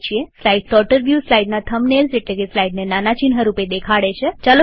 slide sorter view સ્લાઈડના thumbnails એટલેકે સ્લાઈડને નાના ચિહ્ન રૂપે દેખાડે છે